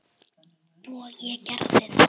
Og ég gerði það.